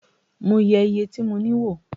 Mo yẹ iye tí mo ní wò